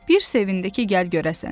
Bir sevindi ki, gəl görəsən.